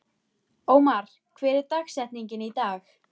Ómar, hver er dagsetningin í dag?